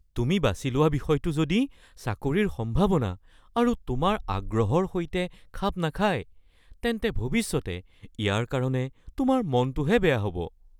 তুমি বাছি লোৱা বিষয়টো যদি চাকৰিৰ সম্ভাৱনা আৰু তোমাৰ আগ্ৰহৰ সৈতে খাপ নাখায়, তেন্তে ভৱিষ্যতে ইয়াৰ কাৰণে তোমাৰ মনটোহে বেয়া হ'ব (অধ্যাপক)